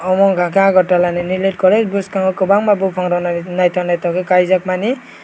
obo wngka ke agatalani niniletkoroi buchkango bopang rok nai naitok kaijakmani.